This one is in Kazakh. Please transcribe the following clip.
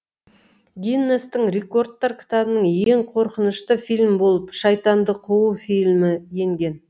гиннестің рекордтар кітабына ең қорқынышты фильм болып шайтанды қуу фильмі енген